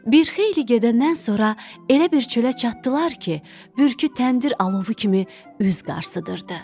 Bir xeyli gedəndən sonra elə bir çölə çatdılar ki, bürkütəndir alovu kimi üz qarsıdırırdı.